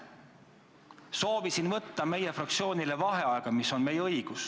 Soovisin võtta meie fraktsioonile vaheaega, mis on meie õigus.